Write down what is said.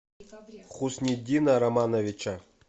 хусниддина романовича